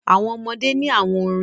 Àwọn ọmọdé ní àwọn orin.